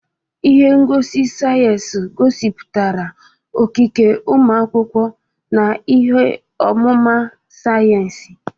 Ihe ngosi sayensị gosipụtara okike ụmụ akwụkwọ na ihe ọmụma sayensị.